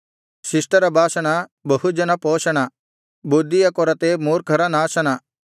ಶಿಷ್ಟರ ಭಾಷಣ ಬಹುಜನ ಪೋಷಣ ಬುದ್ಧಿಯ ಕೊರತೆ ಮೂರ್ಖರ ನಾಶನ